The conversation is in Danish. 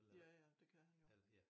Ja ja det kan han jo